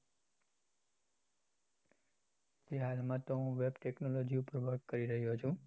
એ હાલમાં તો web technology ઉપ્પર work કરી રહ્યો છુ.